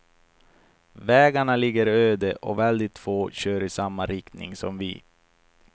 Vägarna ligger öde och väldigt få kör i samma riktning som vi.